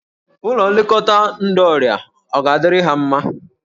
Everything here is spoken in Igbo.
Ụlọ nlekọta ndọ ọrịa ọ ga-adịrị ha mma?